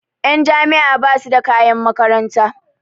Ƴan jami'a basu da kayan makaranta